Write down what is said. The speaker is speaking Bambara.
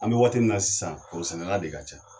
An be waati min na sisan foro sɛnɛ na de ka ca.